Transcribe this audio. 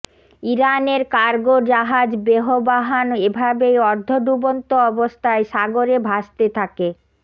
ইরানের কারগো জাহাজ বেহবাহান এভাবেই অর্ধডুবন্ত অবস্থায় সাগরে ভাসতে থাকে